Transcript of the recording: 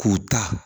K'u ta